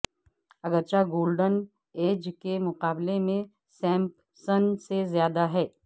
اگرچہ golden age کے مقابلے میں سمپسسن سے زیادہ ہے